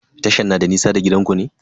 Tashan na da nisa da gidanku ne?